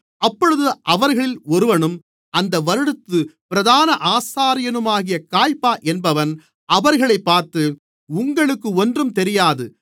அப்பொழுது அவர்களில் ஒருவனும் அந்த வருடத்துப் பிரதான ஆசாரியனுமாகிய காய்பா என்பவன் அவர்களைப் பார்த்து உங்களுக்கு ஒன்றும் தெரியாது